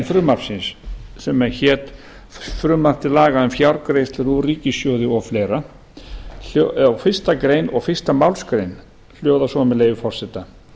frumvarpsins sem hét frumvarp til laga um fjárgreiðslur úr ríkissjóði o fl fyrstu grein og fyrstu málsgrein hljóða svo með leyfi forseta